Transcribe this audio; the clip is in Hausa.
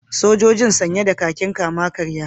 Sojojin sanye da kakin kama-karya